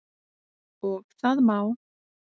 Og það má.